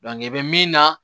i bɛ min na